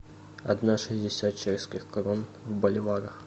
одна шестьдесят чешских крон в боливарах